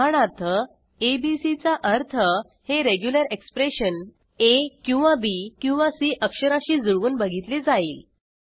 उदाहरणार्थ abc चा अर्थ हे रेग्युलर एक्सप्रेशन आ किंवा बी किंवा सी अक्षराशी जुळवून बघितले जाईल